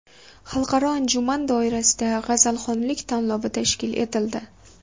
Xalqaro anjuman doirasida g‘azalxonlik tanlovi tashkil etildi.